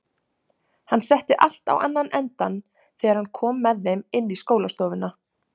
Hann setti allt á annan endann þegar hann kom með þeim inn í skólastofuna.